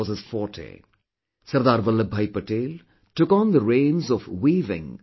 Sardar Vallabhbhai Patel took on the reins of weaving a unified India